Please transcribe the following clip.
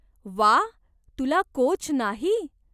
वा, तुला कोच नाही?